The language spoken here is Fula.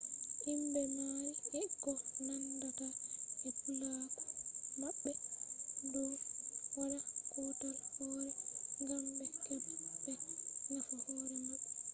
himbe maari e ko naandata e puulaaku mabbe do wadda kautal hooree gam be heba be nafa hoore mabbe